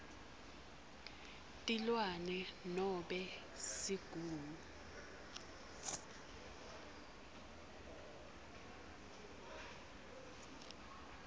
tilwane nobe sigungu